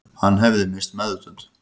Hann hefði misst meðvitund